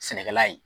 Sɛnɛkɛla ye